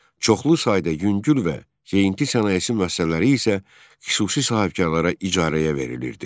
Çoxlu sayda yüngül və zeyinti sənayesi müəssisələri isə xüsusi sahibkarlara icarəyə verilirdi.